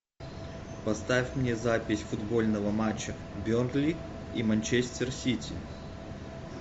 поставь мне запись футбольного матча бернли и манчестер сити